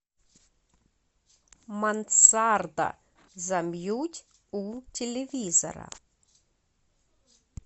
мансарда замьють у телевизора